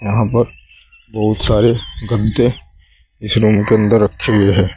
वहां पर बहुत सारे गद्दे इस रूम के अंदर रखे हुए है।